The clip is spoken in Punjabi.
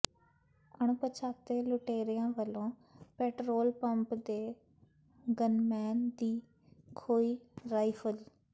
ਅਣਪਛਾਤੇ ਲੁਟੇਰਿਆਂ ਵਲੋਂ ਪੈਟਰੋਲ ਪੰਪ ਦੇ ਗੰਨਮੈਨ ਦੀ ਖੋਹੀ ਰਾਈਫਲ